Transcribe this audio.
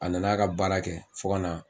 A nan'a ka baara kɛ fo ka na